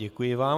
Děkuji vám.